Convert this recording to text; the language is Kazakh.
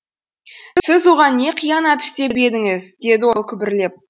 сіз оған не қиянат істеп едіңіз деді ол күбірлеп